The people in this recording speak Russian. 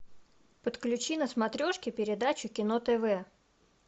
подключи на смотрешке передачу кино тв